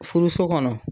Furuso kɔnɔ